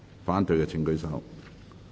反對的請舉手。